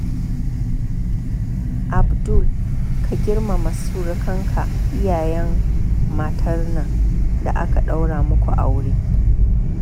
Abdu ka girmama surukanka iyayen matar nan da aka daura muku aure